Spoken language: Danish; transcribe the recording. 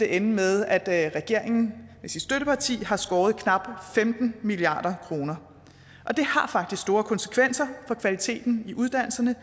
ende med at regeringen med sit støtteparti har skåret knap femten milliard kroner og det har faktisk store konsekvenser for kvaliteten i uddannelserne